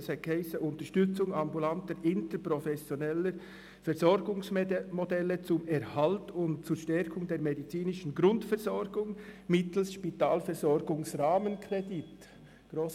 Es hiess «Unterstützung ambulanter interprofessioneller Versorgungsmodelle zum Erhalt und zur Stärkung der medizinischen Grundversorgung mittels SpVG-Rahmenkredit» .